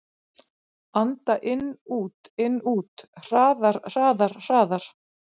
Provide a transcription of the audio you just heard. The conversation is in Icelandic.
Anda inn-út-inn-út. hraðar, hraðar, hraðar.